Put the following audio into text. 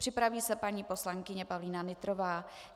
Připraví se paní poslankyně Pavlína Nytrová.